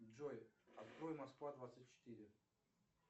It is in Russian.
джой открой москва двадцать четыре